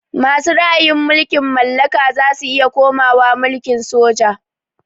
Masu ra'ayin mulkin mallaka zasu iya komawa mulkin soja